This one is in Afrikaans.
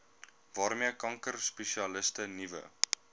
waarmee kankerspesialiste nuwe